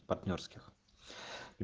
партнёрских